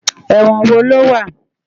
Èwòn wó ló wá?